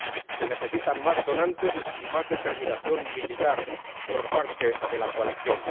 Se necesitan más donantes y más determinación militar por parte de la coalición.